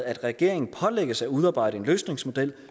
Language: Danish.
at regeringen pålægges at udarbejde en løsningsmodel